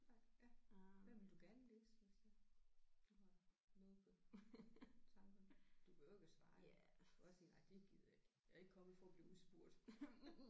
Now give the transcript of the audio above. Nej ja hvad ville du gerne læse hvis øh du har noget på tankerne. Du behøver ikke at svare jo du kan bare sige nej det gider jeg ikke. Jeg er ikke kommet for at blive udspurgt